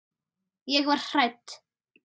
Ég verð hrædd.